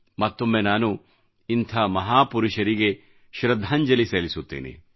ಮತ್ತೊಮ್ಮೆ ನಾನು ಇಂಥ ಮಹಾಪುರುಷರಿಗೆ ಶೃದ್ಧಾಂಜಲಿ ಸಲ್ಲಿಸುತ್ತೇನೆ